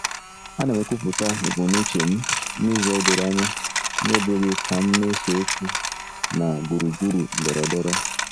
Ana m ekwupụta ebumnuche m n'ụzọ doro anya n'ebughị ka m na-ese okwu na gburugburu ndọrọndọrọ